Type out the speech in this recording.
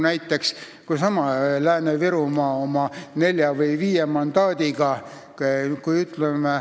Näiteks, seesama Lääne-Virumaa oma nelja või viie mandaadiga.